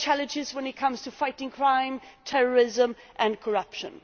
We have challenges when it comes to fighting crime, terrorism and corruption.